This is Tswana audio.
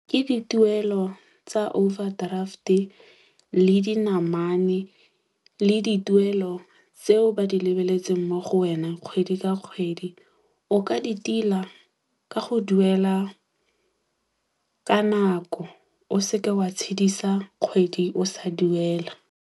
Ke dituelo tsa overdraft-e, le dinamane, le dituelo tseo ba di lebeletseng mo go wena kgwedi ka kgwedi. O ka di tila ka go duela ka nako. O seke wa tshedisa kgwedi o sa duela.